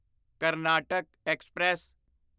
Karnataka express